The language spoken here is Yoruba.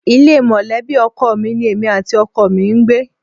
Ilé mọ̀lẹ́bì ọkọ mi ní èmi àti ọkọ mi ń gbé